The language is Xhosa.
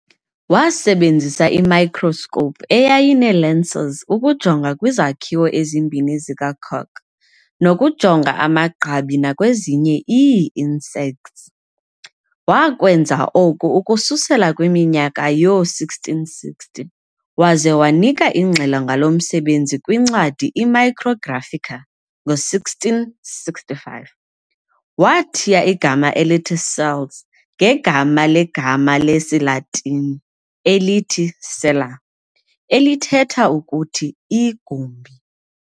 Wasebenzisa i-microscope eyayinee-lenses ukujonga kwizakhiwo ezimbini zikacork, nokujonga amagqabi nakwezinye ii-insects. Wakwenza oku ukususela kwiminyaka yoo-1660, waze wanika ingxelo ngalo msebenzi kwincwadi i"-Micrographica" ngo-1665. Wathiya igama elithi cells ngegama legama le-siLatini elithi-"cella", elithetha ukuthi 'igumbi'.